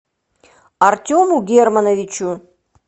артему германовичу